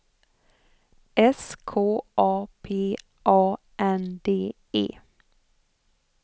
S K A P A N D E